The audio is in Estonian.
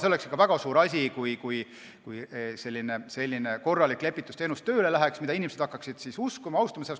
See oleks väga suur asi, kui tööle hakkaks selline korralik lepitusteenus, mida inimesed hakkaksid uskuma ja austama.